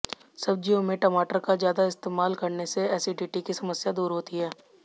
सब्जियों में टमाटर का ज्यादा इस्तेमाल करने से एसिडिटी की समस्या दूर होती है